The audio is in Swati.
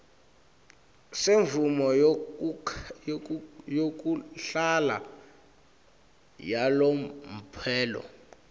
semvumo yekuhlala yalomphelo